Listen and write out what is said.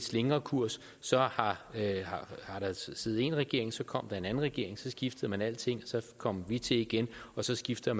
slingrekurs så har der siddet én regering og så kom der en anden regering og så skiftede man alting og så kom vi til igen og så skifter